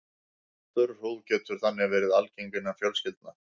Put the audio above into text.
Þurr húð getur þannig verið algeng innan fjölskyldna.